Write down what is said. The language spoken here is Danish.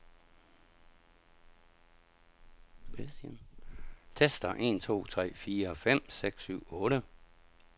Tester en to tre fire fem seks syv otte.